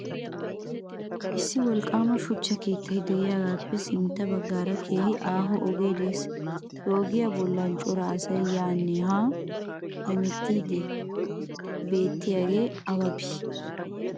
issi wolqqama shuchcha keettay de'iyaagappe sintta baggaara keehi aaho ogee de'ees. he ogiyaa bolla cora asay yaanne hanne hemettiidi beetiyaagee awa bii?